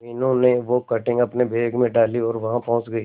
मीनू ने वो कटिंग अपने बैग में डाली और वहां पहुंच गए